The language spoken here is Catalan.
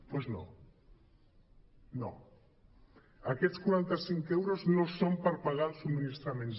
doncs no no aquests quaranta·cinc euros no són per pagar els subministraments